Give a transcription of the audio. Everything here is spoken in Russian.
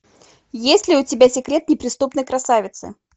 есть ли у тебя секрет неприступной красавицы